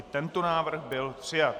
I tento návrh byl přijat.